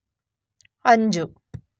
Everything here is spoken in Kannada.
ಅಂಜು